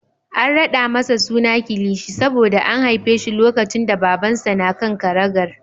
An raɗa masa suna Kilishi saboda an haife shi lokacin da Babansa na kan karagar.